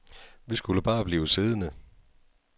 Vi skulle bare blive siddende.